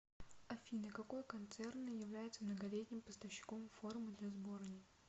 афина какой концерн является многолетним поставщиком формы для сборной